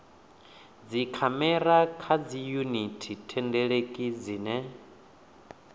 dzikhamera kha dziyuniti thendeleki dzine